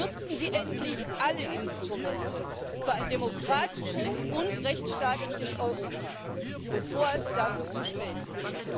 Nutzen Sie endlich alle Instrumente für ein demokratisches und rechtstaatliches Europa, bevor es dafür zu spät ist!